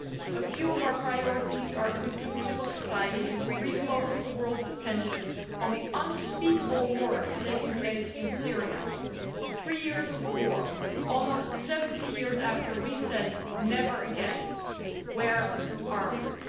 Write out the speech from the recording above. A few of our priorities are to include civil society and re focus the world's attention on the unspeakable horrors taking place in Syria three years of war, almost 70 years after we said never again'. Where are we?